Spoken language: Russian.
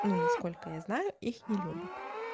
ну насколько я знаю их не любят